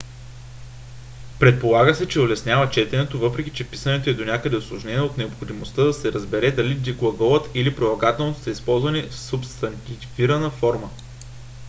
предполага се че улеснява четенето въпреки че писането е донякъде усложнено от необходимостта да се разбере дали глаголът или прилагателното са използвани в субстантивирана форма